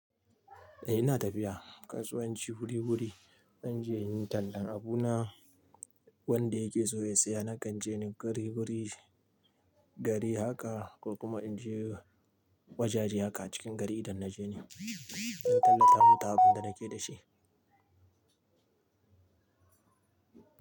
Eh ina tafiya kasuwanci wuri wuri zanje inyi tallan abuna wanda yake so ya siya nakanje ni guri guri gari haka kokuma inje wajaje haka a cikin gari idan naje ni. In tallata musu abun da nake dashi.